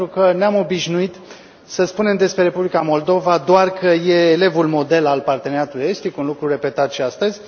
Pentru că ne am obișnuit să spunem despre Republica Moldova doar că e elevul model al Parteneriatului estic, un lucru repetat și astăzi.